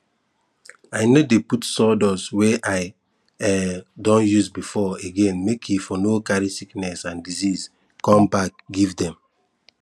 i no dey put sawdust wey i um don use before again make e for no carry sickness and disease come back come give dem